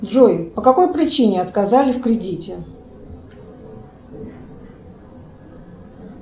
джой по какой причине отказали в кредите